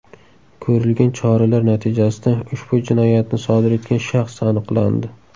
Ko‘rilgan choralar natijasida ushbu jinoyatni sodir etgan shaxs aniqlandi.